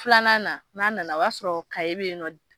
Filanan na n'a nana o b'a sɔrɔ bɛ yen nɔ